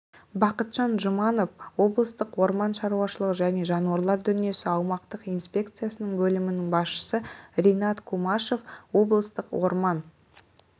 бақытжан жұманов облыстық орман шаруашылығы және жануарлар дүниесі аумақтық инспекциясының бөлім басшысы ринат кумашев облыстық орман